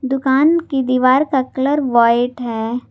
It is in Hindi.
दुकान की दीवार का कलर व्हाईट है।